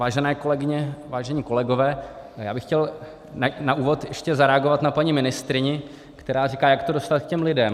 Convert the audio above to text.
Vážené kolegyně, vážení kolegové, já bych chtěl na úvod ještě zareagovat na paní ministryni, která říká, jak to dostat k těm lidem.